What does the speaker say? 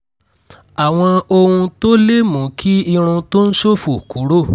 àwọn ohun tó lè mú kí irun tó ń ṣòfò kúrò